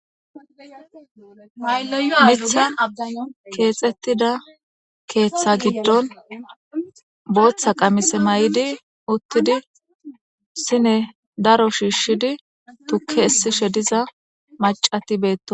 Aa mitha keexettida keeththa giddon booththa qamise may.idi uttidi sine daro shiishshidi tukke essishe diza macati beeto.